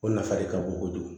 O nafa de ka bon kojugu